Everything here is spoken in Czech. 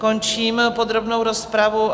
Končím podrobnou rozpravu.